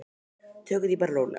Tökum því bara rólega.